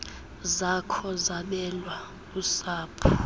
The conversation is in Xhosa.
zakho zabelwa usapho